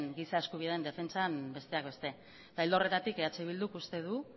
giza eskubideen defentsan besteak beste ildo horretatik eh bilduk uste du